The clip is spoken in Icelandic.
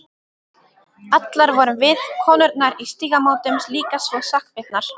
Allar vorum við, konurnar í Stígamótum, líka svo sakbitnar.